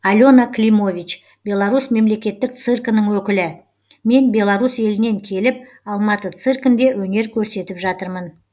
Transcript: алена климович беларусь мемлекеттік циркінің өкілі мен беларусь елінен келіп алматы циркінде өнер көрсетіп жатырмын